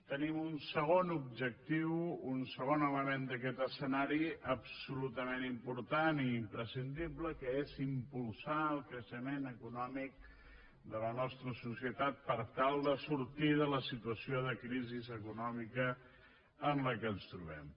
tenim un segon objectiu un segon element d’aquest escenari absolutament important i imprescindible que és impulsar el creixement econòmic de la nostra societat per tal de sortir de la situació de crisi econòmica en què ens trobem